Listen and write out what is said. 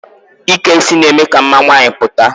Ike isi na-eme ka mma nwaanyị pụta.